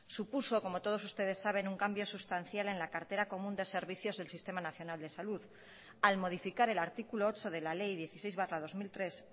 supuso como todos ustedes saben un cambio sustancial en la cartera común de servicios del sistema nacional de salud al modificar el artículo ocho de la ley dieciséis barra dos mil tres